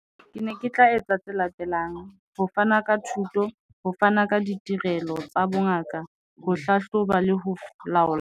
Ke ne ke tla etsa tse latelang. Ho fana ka thuto ho fana ka ditirelo tsa bongaka, ho hlahloba le ho laola.